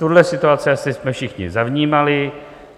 Tuhle situaci jsme asi všichni zavnímali.